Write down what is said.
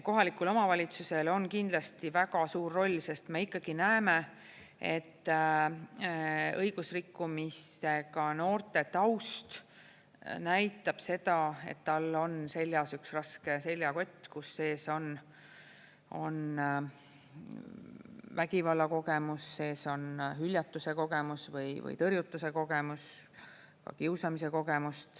Kohalikul omavalitsusel on kindlasti väga suur roll, sest me ikkagi näeme, et õigusrikkumistega noorte taust näitab seda, et tal on seljas üks raske seljakott, kus sees on vägivallakogemus, sees on hüljatuse kogemus või tõrjutuse kogemus, ka kiusamise kogemus.